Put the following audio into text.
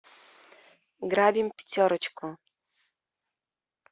грабим пятерочку